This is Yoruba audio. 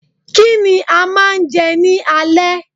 Kí ni a máa jẹ ní alẹ́